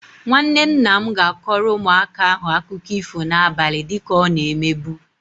Nwanne nna m ga-akọrọ ụmụaka ahụ akụkọ ifo na-abali dịka ọ na-emebu.